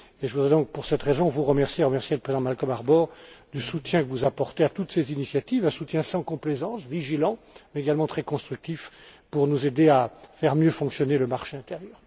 Je voudrais donc, pour cette raison, vous remercier et remercier le président Malcolm Harbour du soutien que vous apportez à toutes ces initiatives, un soutien sans complaisance, vigilant, mais également très constructif pour nous aider à mieux faire fonctionner le marché intérieur.